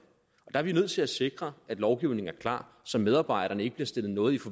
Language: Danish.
er vi nødt til at sikre at lovgivningen er klar så medarbejderne ikke bliver stillet noget i